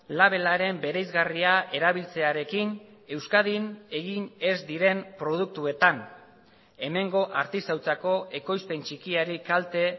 labelaren bereizgarria erabiltzearekin euskadin egin ez diren produktuetan hemengo artisautzako ekoizpen txikiari kalte